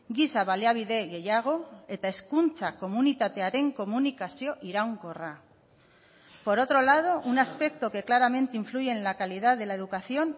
giza baliabide gehiago eta hezkuntza komunitatearen komunikazio iraunkorra por otro lado un aspecto que claramente influye en la calidad de la educación